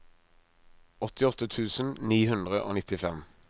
åttiåtte tusen ni hundre og nittifem